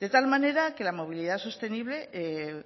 de tal manera que la movilidad sostenible